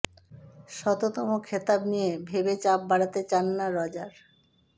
শততম খেতাব নিয়ে ভেবে চাপ বাড়াতে চান না রজার